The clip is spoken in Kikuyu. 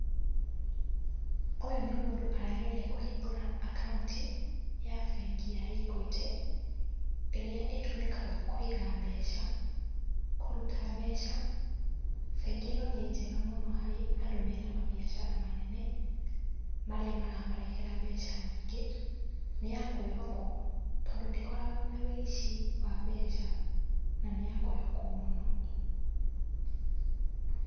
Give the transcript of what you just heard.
Ũyũ nĩ mũndũ arageria kũhingũra akaunti ya bengi ya Equity, ĩrĩa ĩtũmĩkaga kũiga mbeca, kũruta mbeca, bengi ĩno nĩ njega mũno harĩ andũ mena mabiacara manene, marĩa maramarehera mbeca nyingĩ, nĩyakwĩhokwo, tondũ ndĩkoragũo na wĩici wa mbeca na nĩyakwĩhokwo mũno.